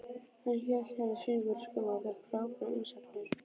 Hann hélt hérna sýningu fyrir skömmu og fékk frábærar umsagnir.